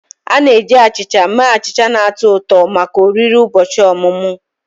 A na-eji achịcha mee achịcha na-atọ ụtọ maka oriri ụbọchị ọmụmụ